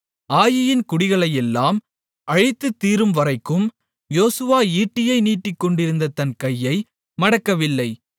ஆயீயின் குடிகளையெல்லாம் அழித்துத் தீரும்வரைக்கும் யோசுவா ஈட்டியை நீட்டிக்கொண்டிருந்த தன் கையை மடக்கவில்லை